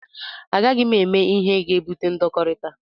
A gaghị m eme ihe ga-ebute ndọkọrita.